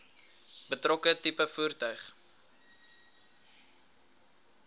betrokke tipe voertuig